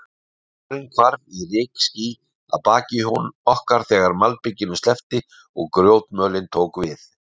Vegurinn hvarf í rykský að baki okkar, þegar malbikinu sleppti og grjótmölin tók við.